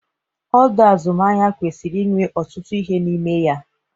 Ọdọ azụmahịa kwesịrị inwe ọtụtụ ihe n'ime ya.